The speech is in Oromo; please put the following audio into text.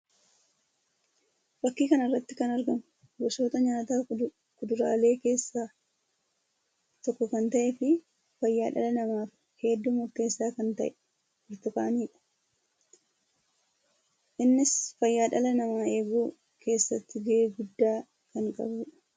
Fakkii kana irratti kan argamu gosoota nyaataa kuduraalee keessaa tokko kan ta'ee fi fayyaa dhala namaaf hedduu murteessaa kan ta'e Burtukaanii dha. Innis fayyaa dhala namaa eeguu keessatti gahee addaa kan qabuu dha.